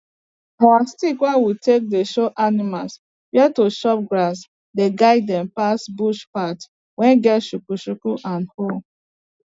our stick wey we take dey show animal where to chop grass dey guide dem pass bush path wey get chuku chuku and hole